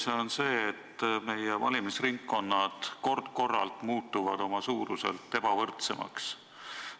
See on see, et meie valimisringkonnad muutuvad kord-korralt oma suuruselt ebavõrdsemaks.